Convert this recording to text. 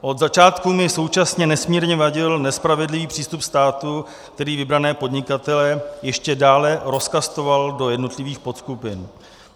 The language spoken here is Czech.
Od začátku mi současně nesmírně vadil nespravedlivý přístup státu, který vybrané podnikatele ještě dále rozkastoval do jednotlivých podskupin.